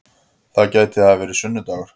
Það gæti hafa verið sunnu-dagur.